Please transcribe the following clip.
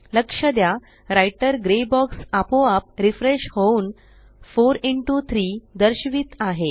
लक्ष द्या writer grey box आपोआप रिफ्रेश होऊन 4 इंटो 3 दर्शवित आहे